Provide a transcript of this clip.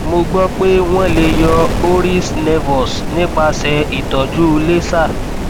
mo gbọ pé wọn lè yọ horis nevus nípasẹ ìtọjú laser